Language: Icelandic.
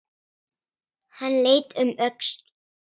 Hann leit um öxl.